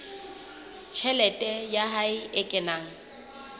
tjhelete ya hae e kenang